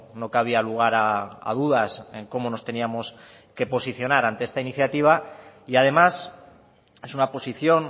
no cabía lugar a dudas en cómo nos teníamos que posicionar ante esta iniciativa y además es una posición